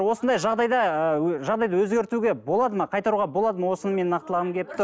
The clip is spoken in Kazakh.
осындай жағдайды ыыы жағдайды өзгертуге болады ма қайтаруға болады ма осыны мен нақтылағым келіп тұр